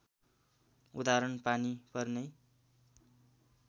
उदाहरण पानी पर्नै